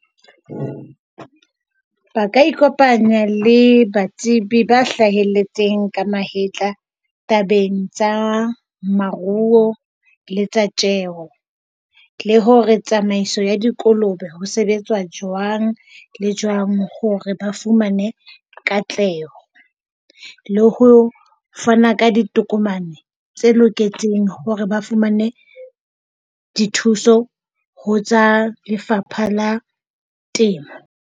Ba ka ikopanya le batsebi ba hlahelletseng ka mahetla tabeng tsa maruo le tsa tjeo. Le hore tsamaiso ya dikolobe ho sebetsa jwang le jwang hore ba fumane katleho. Le ho fana ka ditokomane tse loketseng hore ba fumane dithuso ho tsa Lefapha la Temo.